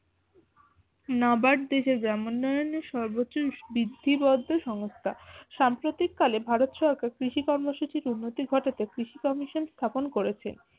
দেশের গ্রামোন্নয়নের দেশের সর্বোচ্চ বৃদ্ধিবদ্ধ সংস্থা সাম্প্রতিককালে ভারত সরকার কৃষি কর্মসূচির উন্নতি ঘটাতে কৃষি কমিশন স্থাপন করেছে